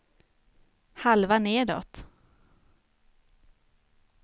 halva nedåt